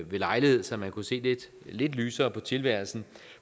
ved lejlighed så han kunne se lidt lysere på tilværelsen